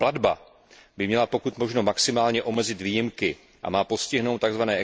Platba by měla pokud možno maximálně omezit výjimky a má postihnout tzv.